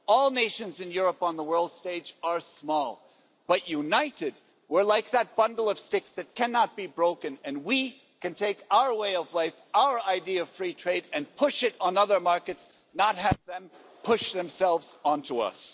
All nations in Europe on the world stage are small, but united we're like that bundle of sticks that cannot be broken, and we can take our way of life, our idea of free trade and push it on other markets, not have them push themselves onto us.